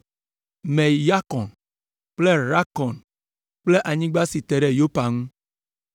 Me Yakɔn kple Rakɔn kple anyigba si te ɖe Yopa ŋu.